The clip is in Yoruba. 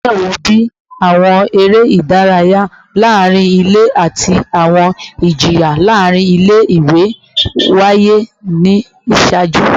Awọn iṣẹ wo, bii awọn ere idaraya laarin ile ati awọn ijiyan laarin ile-iwe, waye ni iṣaaju?